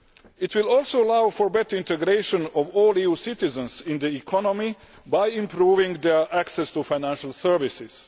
It will also allow for better integration of all EU citizens in the economy by improving their access to financial services.